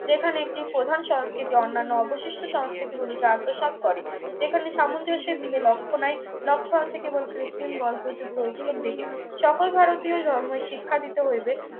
যেখানে একটি প্রধান সংস্কৃতি অন্যান্য অবশিষ্ট সংস্কৃতি গুলিকে আত্মসাৎ করে যেখানে সামঞ্জস্যের দিকে লক্ষ্য নেয় লক্ষ্য আছে কেবল কৃত্রিম বল প্রযুক্ত ঐক্যর দিকে সকল ভারতীয় জন্মই শিক্ষা দিতে হইবে